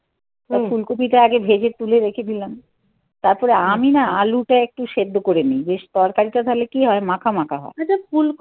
ফুলকপিটা আগে ভেজে তুলে রেখে দিলাম তারপরে আমি না আলুটা একটু সেদ্ধ করেনি. বেশ তরকারিটা তাহলে কি হয় মাখামাখা হয়.